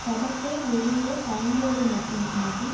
படத்தை வெளியிட தயங்குவது மட்டுமின்றி